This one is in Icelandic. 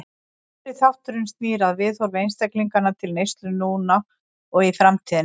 Fyrri þátturinn snýr að viðhorfi einstaklinganna til neyslu núna og í framtíðinni.